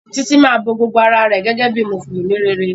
Titi má bó gbogbo àrà rẹ gégé bíi mùsùlùmí réré